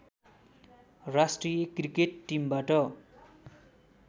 राष्ट्रिय क्रिकेट टिमबाट